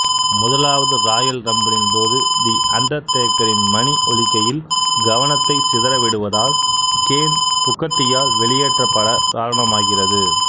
முதலாவது ராயல் ரம்பிளின்போது தி அண்டர்டேக்கரின் மணி ஒலிக்கையில் கவனத்தை சிதறவிடுவதால் கேன் புக்கர் டியால் வெளியேற்றப்பட காரணமாகிறது